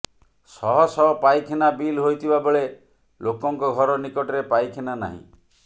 ଶହଶହ ପାଇଖାନା ବିଲ ହୋଇଥିବା ବେଳେ ଲୋକଙ୍କ ଘର ନିକଟରେ ପାଇଖାନା ନାହିଁ